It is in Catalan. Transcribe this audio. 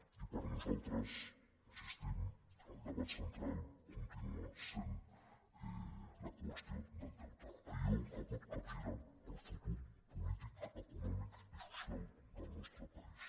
i per nosaltres hi insistim el debat central continua sent la qüestió del deute allò que pot capgirar el futur polític econòmic i social del nostre país